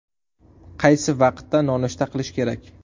Qaysi vaqtda nonushta qilish kerak?